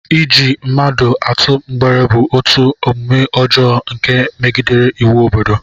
Iji mmadụ atụ mgbere bụ otu omume ọjọọ nke megidere iwu obodo